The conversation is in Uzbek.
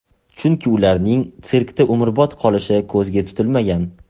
Chunki ularning sirkda umrbod qolishi ko‘zga tutilmagan.